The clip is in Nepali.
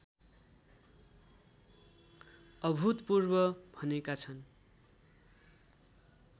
अभूतपूर्व भनेका छन्